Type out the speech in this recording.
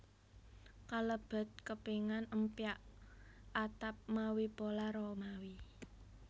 Kalebet kepingan empyak atap mawi pola Romawi